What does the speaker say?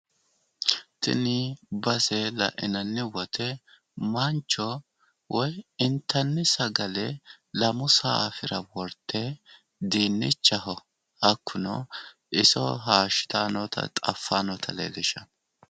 tini base lainanni wote mancho woy intanni sagale lamu saaffira wortte dinnicha hayiishshitanni noota xawissanno.